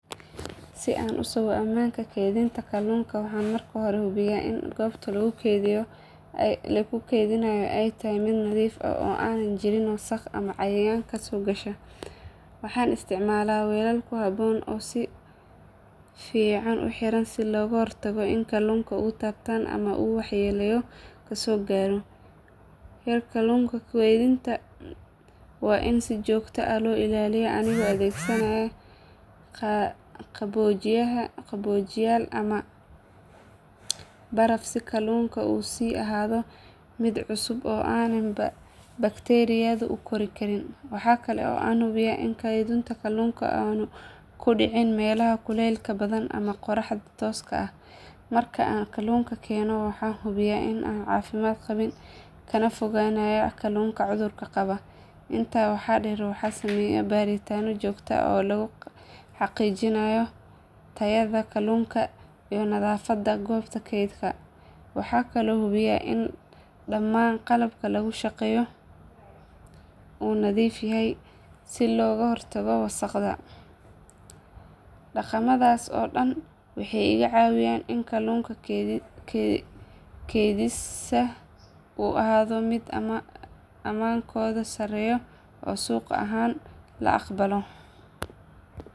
Si aan u sugo ammaanka keydhinta kallunka waxaan marka hore hubiyaa in goobta lagu keydinayo ay tahay mid nadiif ah oo aanay jirin wasakh ama cayayaanka soo gasha. Waxaan isticmaalaa weelal ku habboon oo si fiican u xiran si looga hortago in kallunku uu taabtaan ama uu waxyeelo ka soo gaadho. Heerkulka keydinta waa in si joogto ah loo ilaaliyaa anigoo adeegsanaya qaboojiyayaal ama baraf si kallunku u sii ahaado mid cusub oo aanay bakteeriyadu u kori karin. Waxa kale oo aan hubiyaa in keydka kallunku aanu ku dhicin meelaha kuleylka badan ama qorraxda tooska ah. Marka aan kallunka keenno waxaan hubiyaa in aanu caafimaad qabin, kana fogaanayaa kalluunka cudurka qaba. Intaa waxaa dheer waxaan sameeyaa baaritaano joogto ah oo lagu xaqiijinayo tayada kallunka iyo nadaafadda goobta keydka. Waxaan kaloo hubiyaa in dhammaan qalabka lagu shaqeeyo uu nadiif yahay si looga hortago wasakhda. Dhaqamadaas oo dhan waxay iga caawiyaan in kallunka keydkiisa uu ahaado mid ammaankoodu sareeyo oo suuq ahaan la aqbalo.